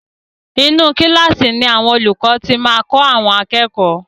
Inú kílààsì ni olúkọ̀ ti máa kọ́ àwọn akẹ́kọ̀ọ́.